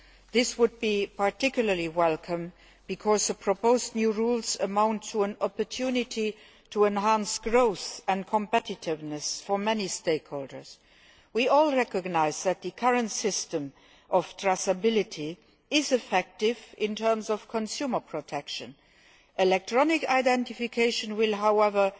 This would be particularly welcome because the proposed new rules amount to an opportunity to enhance growth and competitiveness for many stakeholders. We all recognise that the current system of traceability is effective in terms of consumer protection. Electronic identification will, however,